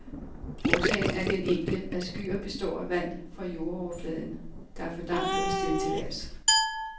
Årsagen er den enkle, at skyer består af vand fra jordoverfladen, der er fordampet og steget til vejrs.